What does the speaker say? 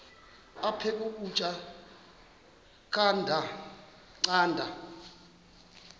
aphek ukutya canda